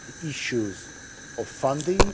issue of funding.